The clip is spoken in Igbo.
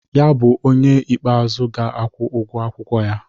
Ya ga-abụ onye ikpeazụ ga-akwụ ụgwọ akwụkwọ ya.